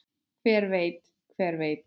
Hver veit, hver veit.